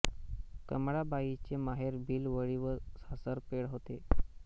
कमळाबाई चे माहेर भिलवडी व सासर पेड होते